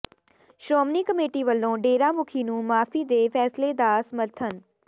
Shiromani committee ਵੱਲੋਂ ਡੇਰਾ ਮੁਖੀ ਨੂੰ ਮੁਆਫ਼ੀ ਦੇ ਫੈਸਲੇ ਦਾ ਸਮਰਥਨ